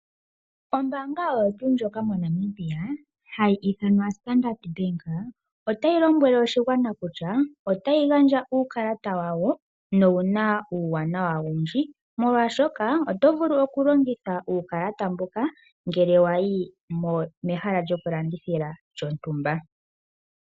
Ombanga oyo tuu ndjoka moNamibia hayi ithanwa Standard Bank otayi lombwele oshigwana kutya otayi gandja uukalata wawo nowu na uuwanawa owundji omolwashoka oto vulu okulongitha uukalata mbuka ngele wa yi mehala lyokulandithila lyondumba.